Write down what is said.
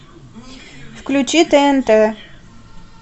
включи тнт